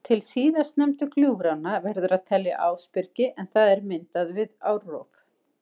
Til síðast nefndu gljúfranna verður að telja Ásbyrgi en það er myndað við árrof.